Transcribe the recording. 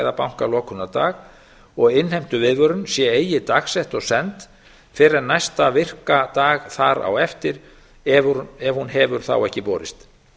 eða bankalokunardag og innheimtuviðvörun sé eigi dagsett og send fyrr en næsta virka dag þar á eftir ef hún hefur þá ekki borist